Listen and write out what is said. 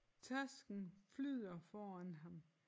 Tasken flyder foran ham